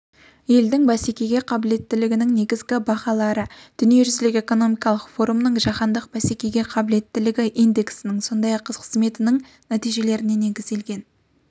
елдің бәсекеге қабілеттілігінің негізгі бағалары дүниежүзілік экономикалық форумның жаһандық бәсекеге қабілеттілік индексінің сондай-ақ қызметінің нәтижелеріне негізделген